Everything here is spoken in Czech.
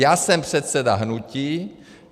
Já jsem předseda hnutí.